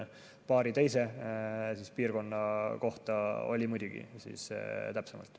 Paari teise piirkonna kohta oli muidugi täpsemalt.